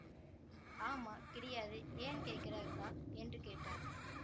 ஆமா கிடையாது ஏன் கேக்கிற அக்கா என்று கேட்டார்